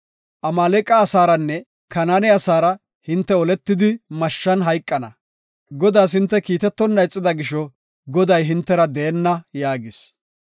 Amaaleqa asaaranne Kanaane asaara hinte oletidi mashshan hayqana. Godaas hinte kiitetonna ixida gisho, Goday hintera deenna” yaagis.